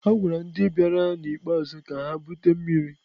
A gwara ndị bịara ikpeazụ ka ha bute mmiri.